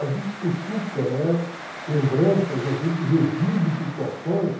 A gente cutuca, né, lembranças, a gente revive situações.